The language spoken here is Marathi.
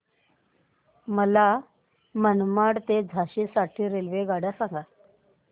मला मनमाड ते झाशी साठी रेल्वेगाड्या सांगा